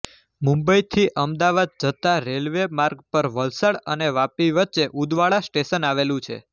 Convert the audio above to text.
મુંબઇથી અમદાવાદ જતા રેલ્વે માર્ગ પર વલસાડ અને વાપી વચ્ચે ઉદવાડા સ્ટેશન આવેલું છે